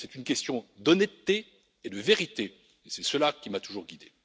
C'est une question d'honnêteté et de vérité, et c'est cela qui m'a toujours guidé.